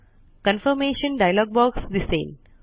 confirmation dialog box दिसेल